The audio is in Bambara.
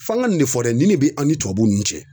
F'an ka nin ne fɔ dɛ nin de bɛ an ni tubabuw n'u cɛ